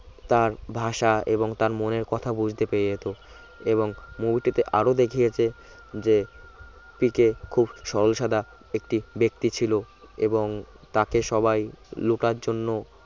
তার ভাষা এবং তার মনের কথা বুঝতে পেরে যেত এবং movie টিতে আরো দেখিয়েছে যে পিকে খুব সরল সাদা একটি ব্যক্তি ছিল এবং তাকে সবাই লোটার জন্য